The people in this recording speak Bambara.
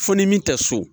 Fo ni min tɛ so